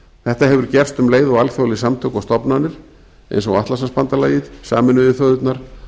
þetta hefur gerst um leið og alþjóðleg samtök og stofnanir eins og atlantshafsbandalagið sameinuðu þjóðirnar